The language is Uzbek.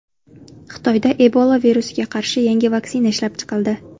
Xitoyda Ebola virusiga qarshi yangi vaksina ishlab chiqildi.